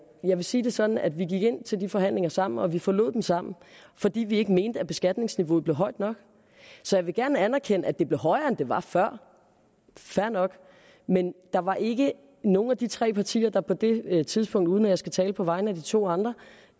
jeg vil sige det sådan at vi gik ind til de forhandlinger sammen og vi forlod dem sammen fordi vi ikke mente at beskatningsniveauet blev højt nok så jeg vil gerne anerkende at det blev højere end det var før fair nok men der var ikke nogen af de tre partier der på det tidspunkt uden at jeg skal tale på vegne af de to andre